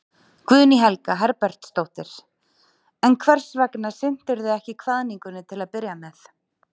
Guðný Helga Herbertsdóttir: En hvers vegna sinntirðu ekki kvaðningunni til að byrja með?